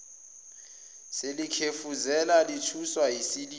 selikhefuzela lithuswa yisililo